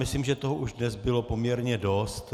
Myslím, že už toho dnes bylo poměrně dost.